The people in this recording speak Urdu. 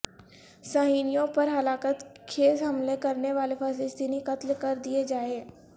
صہیونیوں پر ہلاکت خیز حملے کرنے والے فلسطینی قتل کر دیئے جائیں